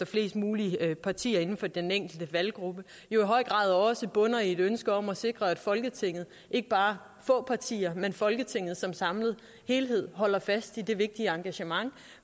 flest mulige partier inden for den enkelte valggruppe jo i høj grad også bunder i et ønske om at sikre at folketinget ikke bare få partier men folketinget som samlet helhed holder fast i det vigtige engagement